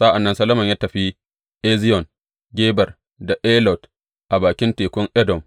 Sa’an nan Solomon ya tafi Eziyon Geber da Elot a bakin tekun Edom.